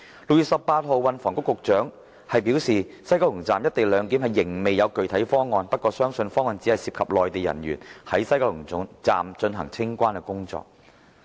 6月18日，運輸及房屋局局長表示，西九龍站"一地兩檢"仍未有具體方案，不過相信方案只涉及內地人員在西九龍站進行清關工作。